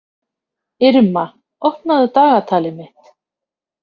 Irma, opnaðu dagatalið mitt.